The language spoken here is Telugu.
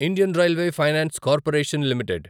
Indian railway finance corporation limited